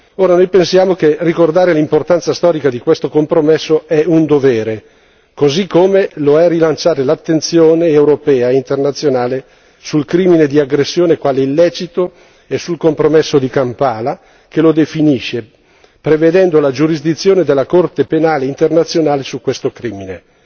Ora noi pensiamo che ricordare l'importanza storica di questo compromesso sia un dovere, così come lo è rilanciare l'attenzione europea e internazionale sul crimine di aggressione quale illecito e sul compromesso di Kampala, che lo definisce, prevedendo la giurisdizione della Corte penale internazionale su questo crimine.